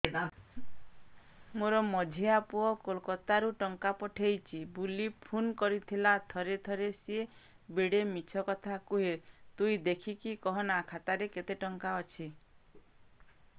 ମୋର ମଝିଆ ପୁଅ କୋଲକତା ରୁ ଟଙ୍କା ପଠେଇଚି ବୁଲି ଫୁନ କରିଥିଲା ଥରେ ଥରେ ସିଏ ବେଡେ ମିଛ କଥା କୁହେ ତୁଇ ଦେଖିକି କହନା ଖାତାରେ କେତ ଟଙ୍କା ଅଛି